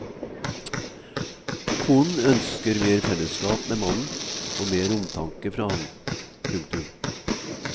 Konen ønsker mer fellesskap med mannen og mer omtanke fra ham. punktum